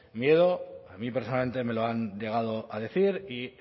miedo a mí personalmente me lo han llegado a decir y